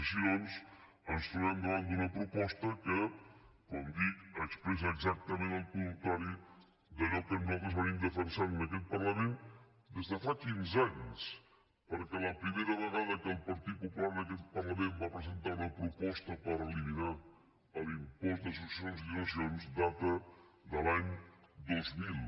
així doncs ens trobem davant d’una proposta que com dic expressa exactament el contrari d’allò que nosaltres defensem en aquest parlament des de fa quinze anys perquè la primera vegada que el partit popular en aquest parlament va presentar una proposta per eliminar l’impost de successions i donacions data de l’any dos mil